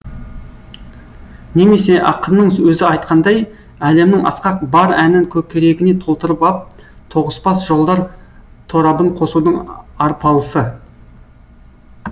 немесе ақынның өзі айтқандай әлемнің асқақ бар әнін көкірегіне толтырып ап тоғыспас жолдар торабын қосудың арпалысы